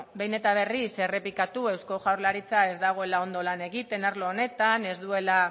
ba beno behin eta berriz errepikatu eusko jaurlaritza ez dagoela ondo lan egiten arlo honetan ez duela